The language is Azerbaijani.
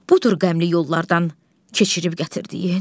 Budur qəmli yollardan keçirib gətirdiyin?